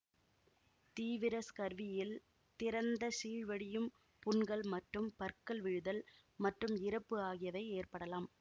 தீவிர ஸ்கர்வியில் திறந்த சீழ்வடியும் புண்கள் மற்றும் பற்கள் விழுதல் மற்றும் இறப்பு ஆகியவை ஏற்படலாம்